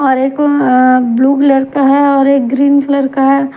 और एक अ ब्लू कलर का है और एक ग्रीन कलर का है।